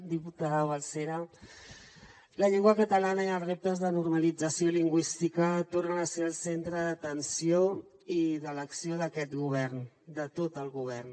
diputada balsera la llengua catalana i els reptes de normalització lingüística tornen a ser el centre d’atenció i de l’acció d’aquest govern de tot el govern